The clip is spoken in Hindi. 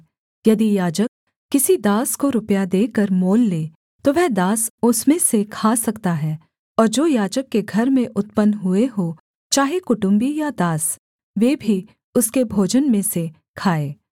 यदि याजक किसी दास को रुपया देकर मोल ले तो वह दास उसमें से खा सकता है और जो याजक के घर में उत्पन्न हुए हों चाहे कुटुम्बी या दास वे भी उसके भोजन में से खाएँ